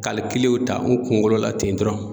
ta n kunkolo la ten dɔrɔn